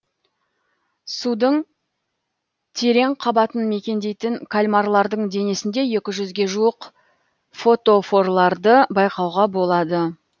судың терең қабатын мекендейтін кальмарлардың денесінде екі жүзге жуық фотофорларды байқауға болады